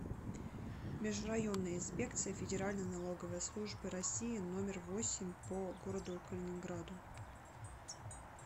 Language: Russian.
межрайонная инспекция федеральной налоговой службы россии номер восемь по г калининграду